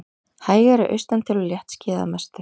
Hægari austantil og léttskýjað að mestu